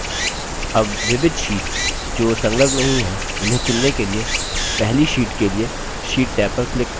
tab विविध sheets जो संलग्न नहीं है उन्हें चुनने के लिए पहली sheets के लिए sheets टैब पर click करें